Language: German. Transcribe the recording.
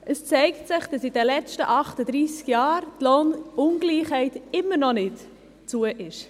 Es zeigt sich, dass die Lohnungleichheit in den letzten 38 Jahren immer noch nicht zugegangen ist.